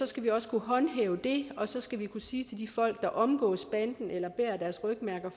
skal vi også kunne håndhæve det og så skal vi kunne sige til de folk der omgås banden eller fortsat bærer deres rygmærker